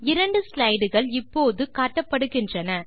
இரண்டு ஸ்லைடுகள் இப்போது காட்டப்படுகின்றன